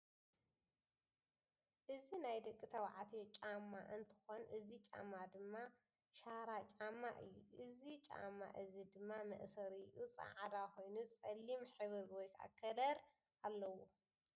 እዚ ናይ ደቂ ተባዕትዮ ጨዘማ እንትኮን እዚ ጫማ ድማ ሻራ ጫማ እዩ። እዚ ጫማ እዚ ድማ መእሰሪኡ ፃዕዳ ኮይኑ ፀሊም ከለር ኣለዎ።